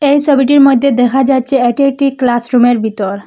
এই সবিটির মইধ্যে দেখা যাচ্ছে এটি একটি ক্লাসরুমের ভিতর।